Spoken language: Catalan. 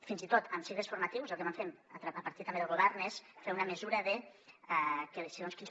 fins i tot en cicles formatius el que vam fer a partir també del govern és fer una mesura de que segons quins